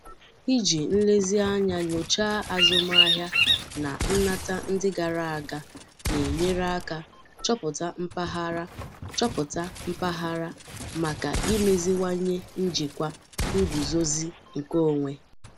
Iji nlezianya nyochaa azụmahịa na nnata ndị gara aga na-enyere aka chọpụta mpaghara chọpụta mpaghara maka imeziwanye njikwa nguzozi nke onwe.